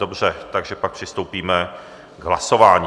Dobře, takže pak přistoupíme k hlasování.